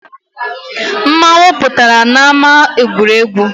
Mmanwu pụtara n’ama egwuregwu